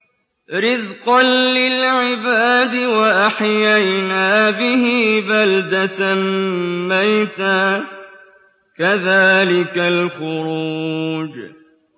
رِّزْقًا لِّلْعِبَادِ ۖ وَأَحْيَيْنَا بِهِ بَلْدَةً مَّيْتًا ۚ كَذَٰلِكَ الْخُرُوجُ